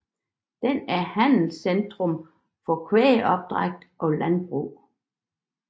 Den er handelscentrum for kvægopdræt og landbrug